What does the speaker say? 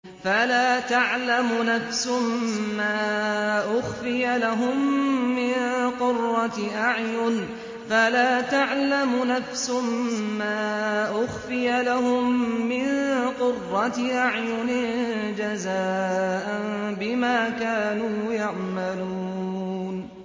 فَلَا تَعْلَمُ نَفْسٌ مَّا أُخْفِيَ لَهُم مِّن قُرَّةِ أَعْيُنٍ جَزَاءً بِمَا كَانُوا يَعْمَلُونَ